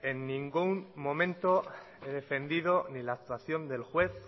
en ningún momento he defendido ni la actuación del juez